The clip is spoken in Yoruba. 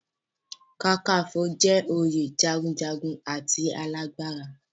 Kakaǹfò jẹ́ oyè jagunjagun and alágbára.